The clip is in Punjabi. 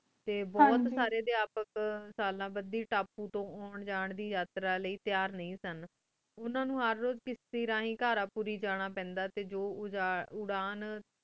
ਟੀ ਬੁਹਤ ਸਾਰੀ ਟੀ ਆਪ ਤਪੁ ਤੂੰ ਬੁਹਤ ਸਾਲਾਂ ਬੜੀ ਜਾਂਦੀ ਅਟਾਰ ਲੈ ਤਯਾਰ ਨੀ ਸਨ ਉਨਾ ਨੂ ਹੇਰ ਰੋਜ਼ ਕਿਸੀ ਰਹੀ ਕਰ ਜਾਣਾ ਪੈਂਦਾ ਸੇ ਉਥਾਨ